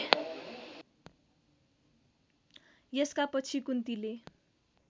यसका पछि कुन्तीले